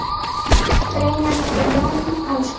Greinar eftir Jón Ásgeir